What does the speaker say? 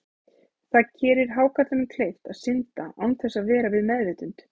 Það gerir hákarlinum kleift að synda án þess að vera við meðvitund.